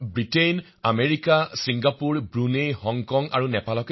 Britain America Singapore Brunei Hong Kong আৰু নেপাল